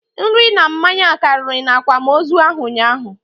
Nri na mmanya karị na akwamozu ahụ ụnyaahụ